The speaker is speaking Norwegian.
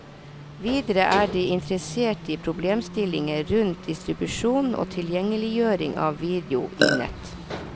Videre er de interessert i problemstillinger rundt distribusjon og tilgjengeliggjøring av video i nett.